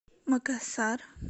макасар